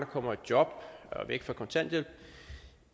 kommer i job og væk fra kontanthjælp